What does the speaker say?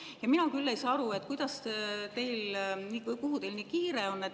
Ja mina küll ei saa aru, kuhu teil nii kiire on.